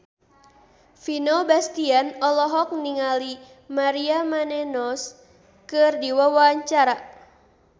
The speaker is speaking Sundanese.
Vino Bastian olohok ningali Maria Menounos keur diwawancara